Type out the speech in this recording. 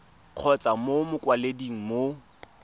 kgotsa mo go mokwaledi mo